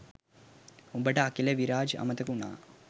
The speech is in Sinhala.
උඹට අකිල විරාජ් අමතක වුනා